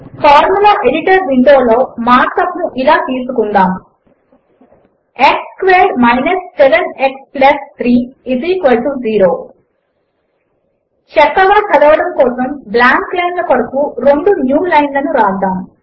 format editor window లో markup ను ఇలా తీసుకుందాము x squared minus 7 x plus 3 0 చక్కగా చదవడము కోసము బ్లాంక్ లైన్ల కొరకు రెండు న్యూ లైన్ లను వ్రాద్దాము